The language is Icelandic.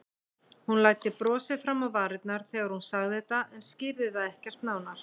Hún læddi brosi fram á varirnar þegar hún sagði þetta en skýrði það ekkert nánar.